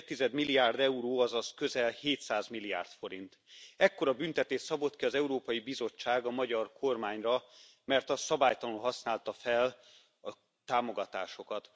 2,5 milliárd euró, azaz közel 700 milliárd forint, ekkora büntetést szabott ki az Európai Bizottság a magyar kormányra, mert az szabálytalanul használta fel a támogatásokat.